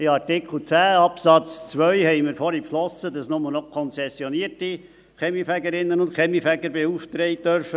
In Artikel 10 Absatz 2 haben wir vorhin beschlossen, dass nur noch konzessionierte Kaminfegerinnen und Kaminfeger beauftragt werden dürfen.